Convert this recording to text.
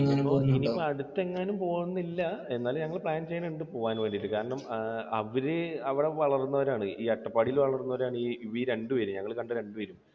ഇനിയിപ്പോൾ അടുത്ത് എങ്ങാനും പോകുന്നില്ല. എന്നാലും ഞങ്ങൾ pan ചെയ്യുന്നുണ്ട് പോകാൻ വേണ്ടിയിട്ട്. കാരണം, അവർ അവിടെ വളർന്നവരാണ്. അട്ടപ്പാടിയിൽ വളർന്നവരാണ് ഈ രണ്ടുപേരും ഞങ്ങൾ കണ്ട രണ്ടുപേരും.